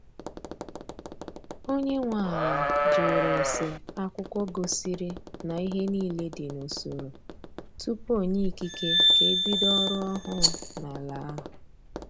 Onye nwe ala jụrụ ese akwụkwọ gosiri na ihe niile dị n'usoro tupu onye ikike ka ebido ọrụ ọhụụ n' ala ahụ.